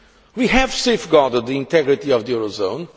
We have safeguarded the integrity of the Eurozone.